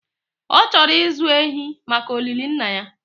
ọ chọrọ ịzụ ehi maka olili Nna ya